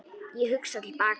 Ég hugsa til baka.